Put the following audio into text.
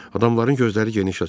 Adamların gözləri geniş açıldı.